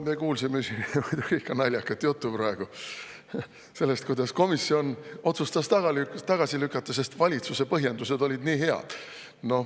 Me kuulsime siin ikka naljakat juttu praegu sellest, kuidas komisjon otsustas tagasi lükata, sest valitsuse põhjendused olid nii head.